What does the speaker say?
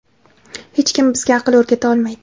hech kim bizga aql o‘rgata olmaydi.